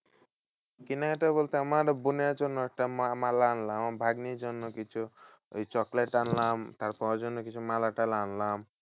কেনাকাটা বলতে আমার বোনের জন্য একটা মা~ মালা আনলাম। আমার ভাগ্নির জন্য কিছু ওই chocolate আনলাম। তারপর ওর জন্য মালা টালা আনলাম।